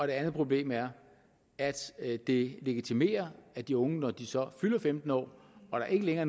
det andet problem er at det legitimerer at de unge når de så fylder femten år og der ikke længere